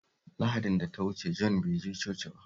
Lahadin da ta wuce Jon bai je coci ba